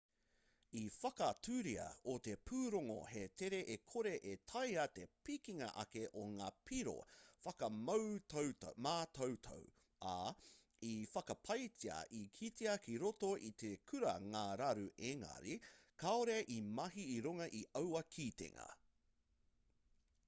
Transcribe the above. i whakaaturia e te pūrongo he tere e kore e taea te pikinga ake o ngā piro whakamātautau ā i whakapaetia i kitea ki roto i te kura ngā raru engari kāore i mahi i runga i aua kitenga